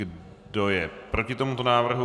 Kdo je proti tomuto návrhu?